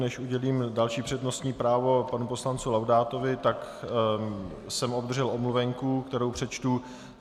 Než udělím další přednostní právo panu poslanci Laudátovi, tak jsem obdržel omluvenku, kterou přečtu.